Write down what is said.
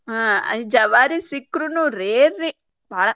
ಹಾ ಜವಾರಿ ಸಿಕ್ರುನು ರೀ rare ರೀ ಬಾಳ.